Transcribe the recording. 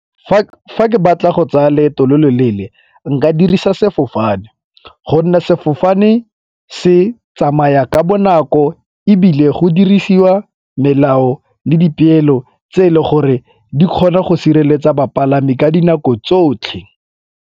Fa ke batla go tsaya loeto lo loleele nka dirisa sefofane gonne sefofane se tsamaya ka bonako ebile go dirisiwa melao le dipeelo tse e le gore di kgona go sireletsa bapalami ka dinako tsotlhe.